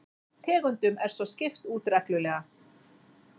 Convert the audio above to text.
Tegundum er svo skipt út reglulega